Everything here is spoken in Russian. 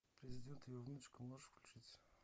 президент и его внучка можешь включить